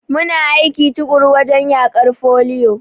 Muna aiki tuƙuru wajen yaƙar foliyo.